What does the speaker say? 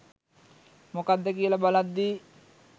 මොකද්ද කියල බලද්දි.